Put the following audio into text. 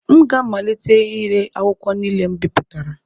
M ga-amalite ire akwụkwọ niile m bipụtara